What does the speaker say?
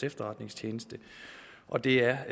efterretningstjeneste og det er